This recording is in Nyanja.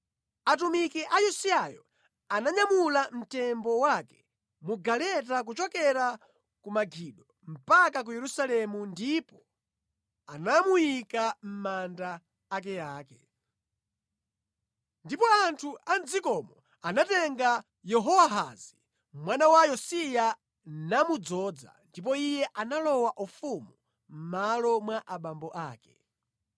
Atumiki a Yosiyayo ananyamula mtembo wake mu galeta kuchokera ku Megido mpaka ku Yerusalemu ndipo anamuyika mʼmanda akeake. Ndipo anthu a mʼdzikomo anatenga Yehowahazi mwana wa Yosiya namudzoza, ndipo iye analowa ufumu mʼmalo mwa abambo ake.